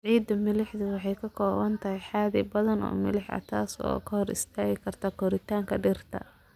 Ciidda milixdu waxay ka kooban tahay xaddi badan oo milix ah, taas oo hor istaagi karta koritaanka dhirta.